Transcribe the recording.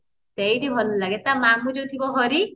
ସେଇଠି ଭଲ ଲାଗେ ତା ଯୋଉ ମାମୁ ଯାଉ ଥିବ ହରି